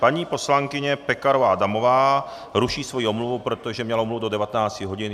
Paní poslankyně Pekarová Adamová ruší svoji omluvu, protože měla omluvu do 19 hodin.